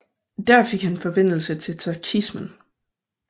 Der fik han forbindelse til tachismen